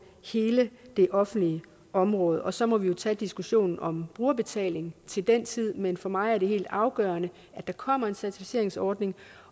hele det offentlige område og så må vi jo tage diskussionen om brugerbetaling til den tid men for mig er det helt afgørende at der kommer en certificeringsordning